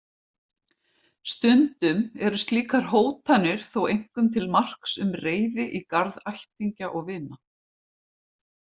Stundum eru slíkar hótanir þó einkum til marks um reiði í garð ættingja og vina.